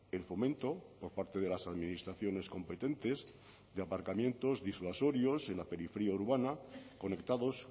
el fomento por parte de las administraciones competentes de aparcamientos disuasorios en la periferia urbana conectados